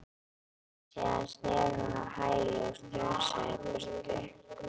Síðan snerist hún á hæli og strunsaði í burtu.